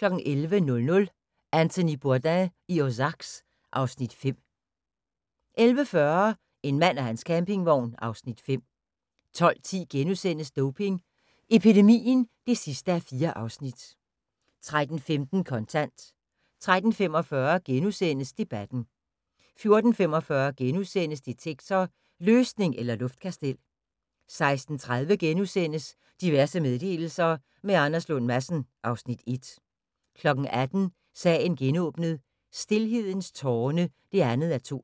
11:00: Anthony Bourdain i Ozarks (Afs. 5) 11:40: En mand og hans campingvogn (Afs. 5) 12:10: Doping epidemien (4:4)* 13:15: Kontant 13:45: Debatten * 14:45: Detektor: Løsning eller luftkastel? * 16:30: Diverse meddelelser – med Anders Lund Madsen (Afs. 1)* 18:00: Sagen genåbnet: Stilhedens tårne (2:2)